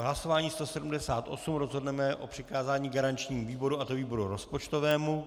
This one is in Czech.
V hlasování 178 rozhodneme o přikázání garančnímu výboru, a to výboru rozpočtovému.